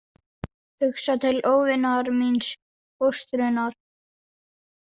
Hugsa til óvinar míns, fóstrunnar.